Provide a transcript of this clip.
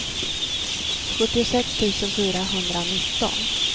sjuttiosex tusen fyrahundranitton